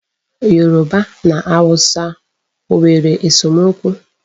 Yoruba na Hausa ọ nwere esomokwu?